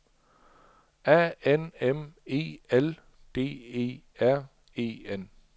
A N M E L D E R E N